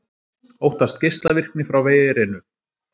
Óttast geislavirkni frá verinu